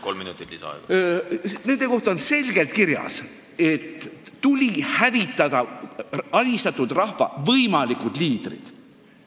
Nõukogude repressioone hinnates on selgelt kirjas, et tuli hävitada alistatud rahva võimalikud liidrid.